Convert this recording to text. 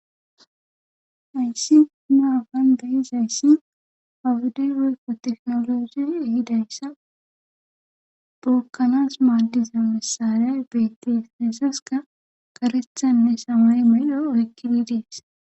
ayssi naafan da7izayssi awudey woykko teknoloje ehidayssa bookkanas maaddiza masariyay bettes neesaska karethanne samay melo oykkidi dees